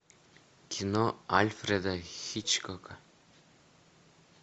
кино альфреда хичкока